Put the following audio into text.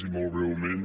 i molt breument